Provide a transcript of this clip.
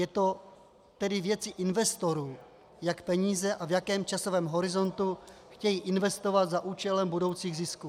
Je to tedy věcí investorů, jaké peníze a v jakém časovém horizontu chtějí investovat za účelem budoucích zisků.